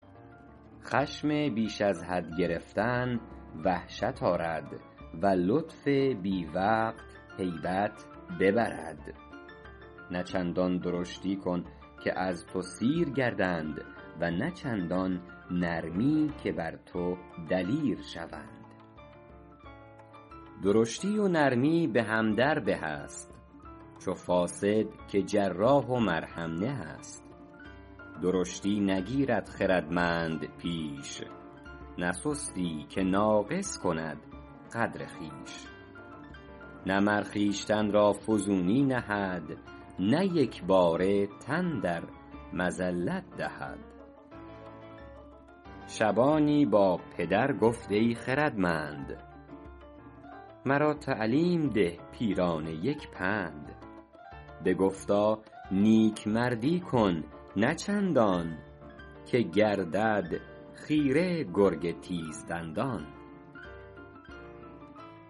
خشم بیش از حد گرفتن وحشت آرد و لطف بی وقت هیبت ببرد نه چندان درشتی کن که از تو سیر گردند و نه چندان نرمی که بر تو دلیر شوند درشتی و نرمی به هم در به است چو فاصد که جراح و مرهم نه است درشتی نگیرد خردمند پیش نه سستی که ناقص کند قدر خویش نه مر خویشتن را فزونی نهد نه یکباره تن در مذلت دهد شبانی با پدر گفت ای خردمند مرا تعلیم ده پیرانه یک پند بگفتا نیکمردی کن نه چندان که گردد خیره گرگ تیز دندان